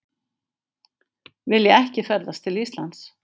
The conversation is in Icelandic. Vilja ekki ferðast til Íslands